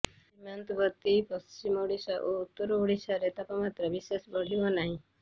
ସୀମାନ୍ତବର୍ତ୍ତୀ ପଶ୍ଚିମ ଓଡ଼ିଶା ଓ ଉତ୍ତର ଓଡ଼ିଶାରେ ତାପମାତ୍ରା ବିଶେଷ ବଢ଼ିବ ନାହିଁ